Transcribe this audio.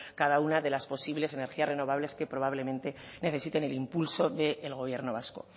cada una de las posibles energías renovables que probablemente necesiten el impulso del gobierno vasco